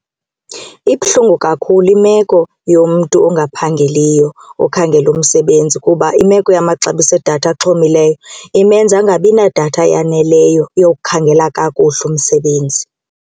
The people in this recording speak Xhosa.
Ibuhlungu kakhulu imeko yomntu ongaphangeliyo okhangela umsebenzi kuba imeko yamaxabiso edatha axhomileyo imenza angabi nadatha yaneleyo yokukhangela kakuhle umsebenzi.